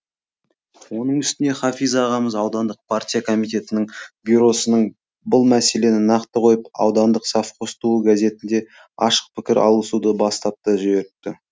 оның үстіне хафиз ағамыз аудандық партия комитетінің бюросының бұл мәселені нақты қойып аудандық совхоз туы газетінде ашық пікір алысуды бастап та жіберіпті